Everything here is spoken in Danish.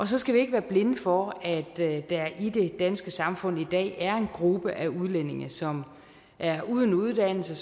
så skal vi ikke være blinde for at der i det danske samfund i dag er en gruppe af udlændinge som er uden uddannelse